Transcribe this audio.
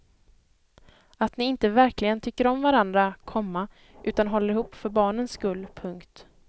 Att ni inte verkligen tycker om varandra, komma utan håller ihop för barnens skull. punkt